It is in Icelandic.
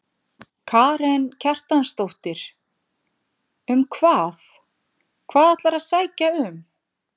Karen Kjartansdóttir: Um hvað, hvað ætlarðu að sækja um?